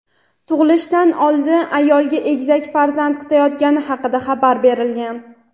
Tug‘ilishdan oldin ayolga egizak farzand kutayotgani haqida xabar berilgan.